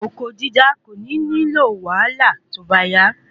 oko dídá kò ní nílò wàhálà tó bá yá